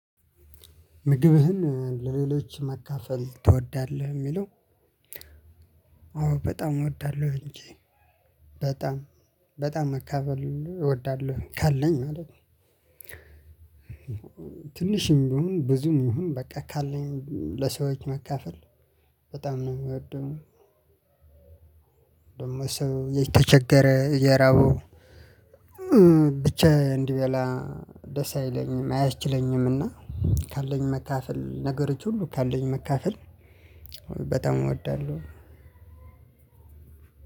ምግብህን ለሌሎች መካፈል ትወዳለህ የሚለው? አዎ በጣም እወዳለሁ እንጂ በጣም በጣም መካፈል እወዳለሁ ካለኝ ማለት ነው። ትንሽም ቢሆን ብዙም መሆን በቃ ካለኝ ለሰዎች መካፈል በጣም ነው የምወደው። ደግሞ ሰው የተቸገረ እየራበው ብቻ እንዲበላ ደስ አይለኝም አያስችለኝምና ካለኝ መካፈል ነገሮች ሁሉ ካለኝ መካፈል። በጣም እወዳለሁ።